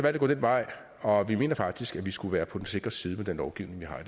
at gå den vej og vi mener faktisk at vi skulle være på den sikre side med den lovgivning vi har